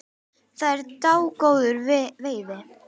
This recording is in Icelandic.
Það er dágóð veiði.